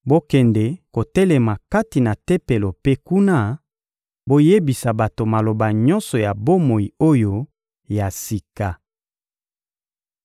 — Bokende kotelema kati na Tempelo mpe kuna, boyebisa bato maloba nyonso ya bomoi oyo ya sika.